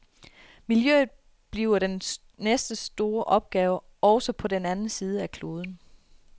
Miljøet bliver den næste store opgave, også på den anden side af kloden.